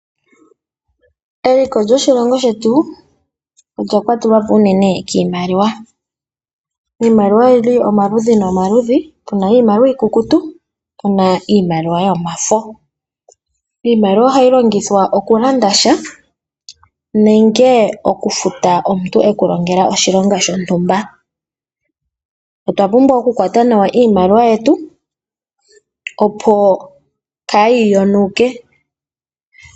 Eliko lyoshilongo shetu olya kwatelwa po unene kiimaliwa. Iimaliwa oyi li omaludhi nomaludhi. Pu na iimaliwa iikukutu noshowo iimaliwa yomafo. Iimaliwa ohayi longithwa okulanda nenge okufuta omuntu e ku longela oshilonga shontumba. Otwa pumbwa okukwata nawa iimaliwa yetu, opo kaayi kanithe ongushu.